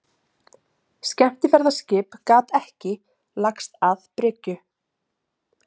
Skemmtiferðaskip gat ekki lagst að bryggju